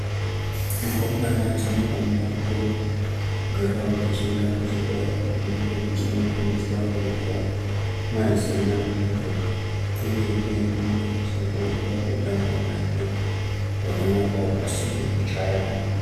Rumbwane dzinofanika kugarawo dzechienda kuchikora kwadzinge dzinondofundiswa kunyora mazina adzo uyezve dzinenge dzeifundiswa kutamba nevamweni zvakanaka pasina kuchayana.